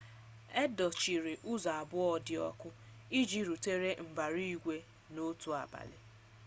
e dochiri ụzọ abụọ dị ọkụ iji rụtụrụ mbara igwe n'otu abalị